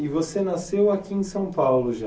E você nasceu aqui em São Paulo já,